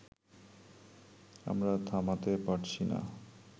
আমরা থামাতে পারছি না